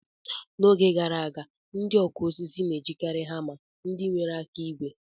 N'oge gara aga, ndị ọkụ osisi na-ejikari hama ndị nwere aka ígwè.